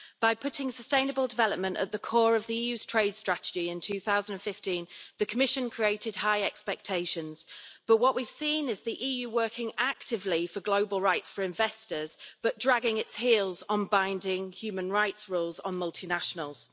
By putting sustainable development at the core of the EU's trade strategy in 2015, the Commission created high expectations, but what we've seen is the EU working actively for global rights for investors, but dragging its heels on binding human rights rules on multinationals.